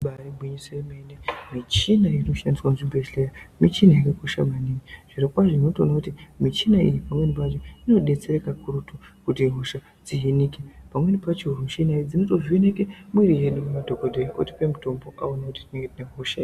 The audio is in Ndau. Ibairi gwinyiso yemene michina iri kushandiswa muzvibhedhleya michina yakakosha maningi. Zviro kwazvo zvinotooneka kuti michina iyi pamweni pacho ino detsera ka kurutu kuti hosha dzihinike pamweni pacho michana idzi dzinotovheneke mwiri yedu madhokodheya otipe mutombo aone kuti zvinohina hosha.